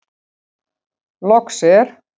Loks er.